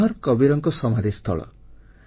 ମଗହର କବୀରଙ୍କ ସମାଧି ସ୍ଥଳ